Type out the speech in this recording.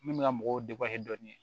Min bɛ ka mɔgɔw dɔɔni